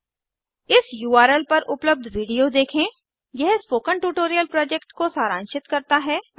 इस उर्ल पर उपलब्ध विडिओ देखें httpspoken tutorialorgWhat इस आ स्पोकेन ट्यूटोरियल यह स्पोकन ट्यूटोरियल प्रोजेक्ट को सारांशित करता है